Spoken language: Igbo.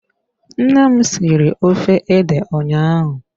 Nne m siri ofe ede ụnyaahụ.